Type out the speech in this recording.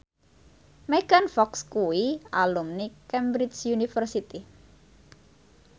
Megan Fox kuwi alumni Cambridge University